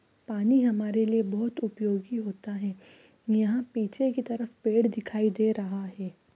पानी हमारे लिए अभूत उपयोगी होता हे यहाँ पेचे की तरफ पेड़ दिखाई दे रहे हे ।